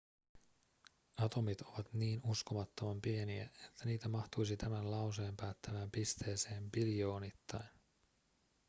atomit ovat niin uskomattoman pieniä että niitä mahtuisi tämän lauseen päättävään pisteeseen biljoonittain